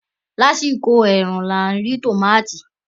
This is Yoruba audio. Lásìkò ẹ̀rùn la rí tòmátì